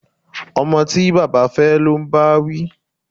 Ọmọ tí baba fẹ́ ló ń báwí